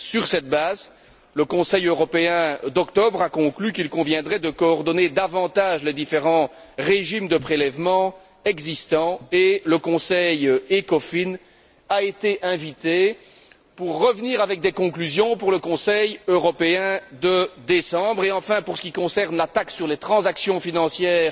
Sur cette base, le Conseil européen d'octobre a conclu qu'il conviendrait de coordonner davantage les différents régimes de prélèvement existants et le Conseil ECOFIN a été invité à revenir avec des conclusions pour le Conseil européen de décembre. Enfin, pour ce qui concerne la taxe sur les transactions financières